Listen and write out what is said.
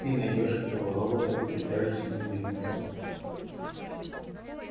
ты найдёшь этого робота и прикажешь ему вернуться